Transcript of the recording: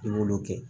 I b'olu kɛ